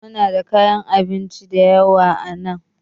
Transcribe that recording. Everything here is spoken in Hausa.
Muna da kayan abinci da yawa a nan